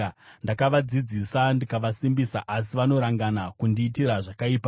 Ndakavadzidzisa ndikavasimbisa, asi vanorangana kundiitira zvakaipa.